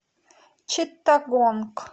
читтагонг